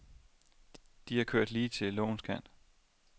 De har kørt lige til lovens kant.